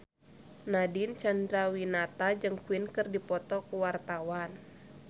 Nadine Chandrawinata jeung Queen keur dipoto ku wartawan